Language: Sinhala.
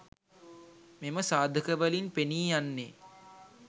මෙම සාධකවලින් පෙනී යන්නේ